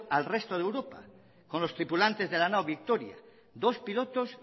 al resto de europa con los tripulantes de la nao victoria dos pilotes